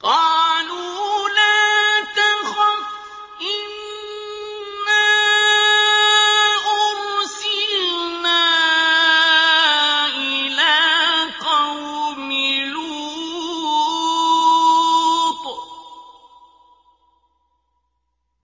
قَالُوا لَا تَخَفْ إِنَّا أُرْسِلْنَا إِلَىٰ قَوْمِ لُوطٍ